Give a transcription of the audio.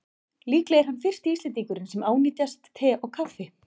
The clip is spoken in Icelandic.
Líklega er hann fyrsti Íslendingurinn sem ánetjast te og kaffi.